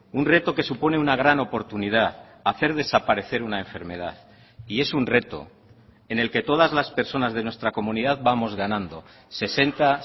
un reto que supone una gran oportunidad hacer desaparecer una enfermedad y es un reto en el que todas las personas de nuestra comunidad vamos ganando sesenta